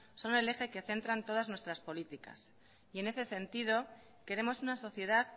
son el eje que centran todas nuestras políticos y en ese sentido queremos una sociedad